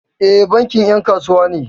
E, bankin 'yan kasuwa ne.